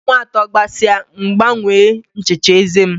Ọnwa atọ gasịa M gbanwee nchicha eze m.